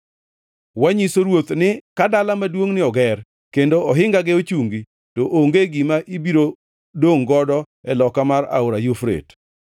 Wanyiso ruoth ni ka dala maduongʼni oger kendo ohingage ochungi, to onge gima ibiro dongʼ godo e loka mar Aora Yufrate.